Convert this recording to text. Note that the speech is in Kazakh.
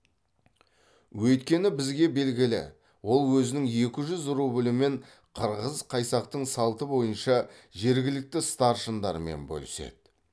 өйткені бізге белгілі ол өзінің екі жүз рублімен қырғыз қайсақтың салты бойынша жергілікті старшындармен бөліседі